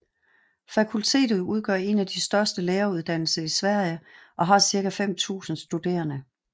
Fakultetet udgør en af de største læreruddannelser i Sverige og har cirka 5000 studerende